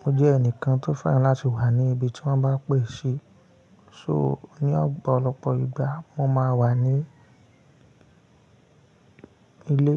mo jẹ́ ẹnìkan tó fẹ́ràn láti wà ní ibi tí wọ́n bá pè e ṣi So ní ọ̀pọ̀lọpọ̀ ìgbà mo máa wà ní ilé.